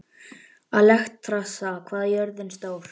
Alexstrasa, hvað er jörðin stór?